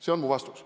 See on mu vastus.